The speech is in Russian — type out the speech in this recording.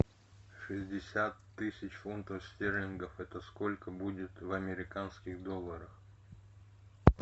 шестьдесят тысяч фунтов стерлингов это сколько будет в американских долларах